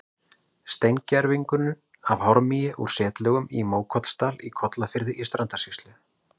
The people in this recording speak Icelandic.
Steingervingur af hármýi úr setlögum í Mókollsdal í Kollafirði í Strandasýslu.